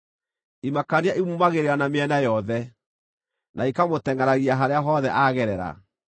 Imakania imuumagĩrĩra na mĩena yothe, na ikamũtengʼeragia harĩa hothe aagerera.